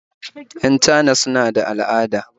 Yan Chana suna da al'ada